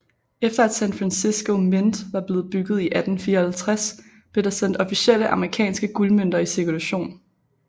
Efter at San Francisco Mint var blevet bygget i 1854 blev der sendt officielle amerikanske guldmønter i cirkulation